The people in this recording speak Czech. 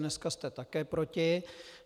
Dneska jste také proti.